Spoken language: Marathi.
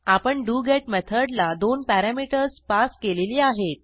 आपण डोगेत मेथडला दोन पॅरॅमीटर्स पास केलेली आहेत